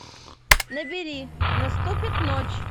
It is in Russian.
набери наступит ночь